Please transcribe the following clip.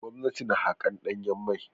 Gwamnati na haƙar ɗanyen mai.